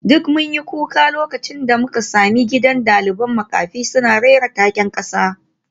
Duk mun yi kuka lokacin da muka sami gidan dalibai makafi suna rera taken kasa